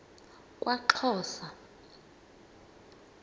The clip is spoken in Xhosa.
kwaxhosa